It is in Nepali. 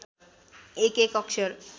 एक एक अक्षर